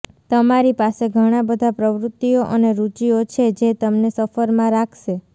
તમારી પાસે ઘણાં બધાં પ્રવૃત્તિઓ અને રુચિઓ છે જે તમને સફરમાં રાખશે